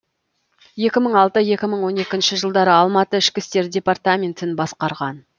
екі мың алты екі мың он екінші жылдары алматы ішкі істер департаментін басқарған